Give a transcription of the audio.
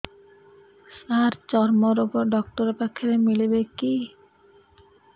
ସାର ଚର୍ମରୋଗ ଡକ୍ଟର ପାଖରେ ମିଳିବେ କି